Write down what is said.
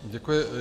Děkuji.